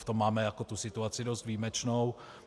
V tom máme situaci dost výjimečnou.